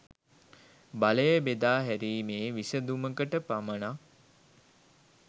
බලය බෙදා හැරීමේ විසඳුමකට පමණක්